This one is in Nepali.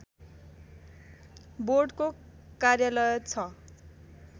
बोर्डको कार्यालय छ